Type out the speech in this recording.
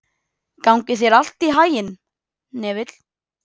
Gangi þér allt í haginn, Hnefill.